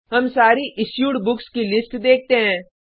हम सारी issued books की लिस्ट देखते हैं